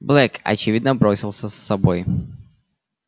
блэк очевидно бросился с собой